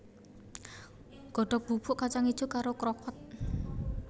Godhog bubuk kacang ijo karo krokot